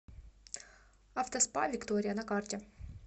автоспа виктория на карте